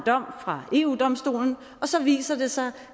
dom fra eu domstolen så viser det sig